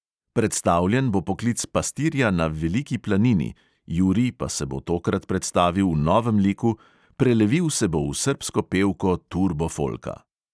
Predstavljen bo poklic pastirja na veliki planini, jurij pa se bo tokrat predstavil v novem liku – prelevil se bo v srbsko pevko turbo folka!